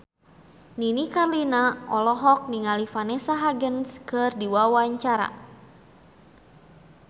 Nini Carlina olohok ningali Vanessa Hudgens keur diwawancara